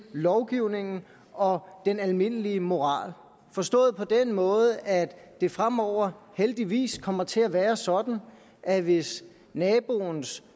lovgivningen og den almindelige moral forstået på den måde at det fremover heldigvis kommer til at være sådan at hvis naboens